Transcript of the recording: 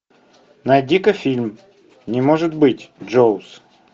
найди ка фильм не может быть джоуз